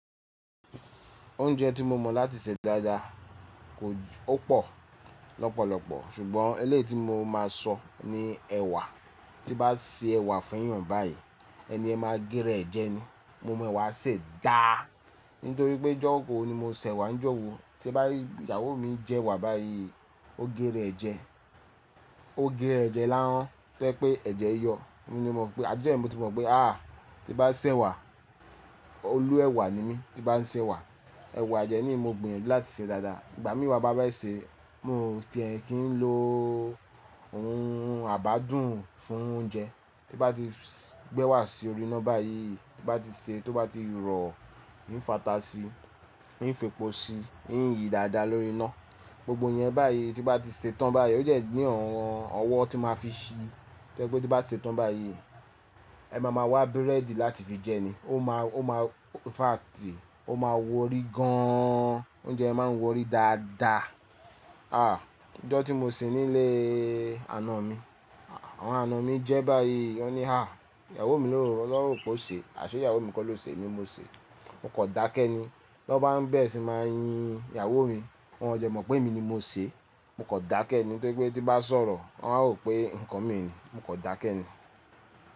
Oúnjẹ tí mo mọ̀ láti ṣe dáadáa ò pọ̀ lọ́pọ̀lọpọ̀ ṣùgbọ́n eléèti mo máa sọ ni ẹ̀wà. Tí bá ṣe ẹ̀wà fún ìyàn báyi, ẹni ẹ máa gé rẹ̀ jẹ ni. Mo mọ̀ ẹ̀wà ṣe dáá nítorí pé jọ́kòó ni mo ṣẹ̀wà. Jọ̀wo tí bá ìyàwó mi jẹ ẹ̀wà báyi, ó gé rẹ̀ jẹ, ó gé rẹ̀ jẹ lárán fẹ́ pé ẹ̀jẹ̀ yọ. Mo ni mọ̀ pé a jẹ́ ẹni mo ti mọ̀ pé à ti bá ṣẹ̀wà, olú ẹ̀wà ni mí tí bá ń ṣẹ̀wà. Ẹ̀wà jẹ ni mo gbin láti ṣe dáadáa. Ìgbà mí wa bá bá ṣe, mo ti ẹ̀ kín ló ohun àbádùn fún oúnjẹ tí bá ti gbẹ wà sí orí iná báyi, tí bá ti ṣe tí ó bá ti rọ̀, ín fàtà síi, ín fe po si, ín yìí dáadáa lórí iná. Gbogbo ẹ̀ yẹn báyi tí bá ti ṣe tán báyi ó jẹ́ ní ọ̀wọ́n ọwọ tí máa fi ṣi. Jẹ́ pé tí bá ṣe tán báyi ẹ máa ma wá búrẹ́dì láti fi jẹ ni. Ó ma ó ma fàti, ó máa worí gan an. Oúnjẹ máa ń worí dáadáa. Ah! Ọjọ́ tí mo sì nílé àna mi, àwọn àna mi jẹ báyi, wọ́n ni há ìyàwó mi lò ó rò pé ó ṣe. Aṣe ìyàwó mi kọ́ ló ṣe èmi mo ṣe. Mo kọn dákẹ́ ni. Lọ bá ń bẹ́ẹ̀ sì máa yín ìyàwó mi, wọ́n jẹ mọ̀ pé èmi ni mo ṣe. Mo kọn dákẹ́ ni tori pé tí bá sọ̀rọ̀ wọ́n a hò pé nǹkan mi ni. Mo kan dákẹ́ ni.